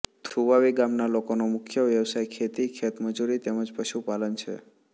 થુવાવી ગામના લોકોનો મુખ્ય વ્યવસાય ખેતી ખેતમજૂરી તેમ જ પશુપાલન છે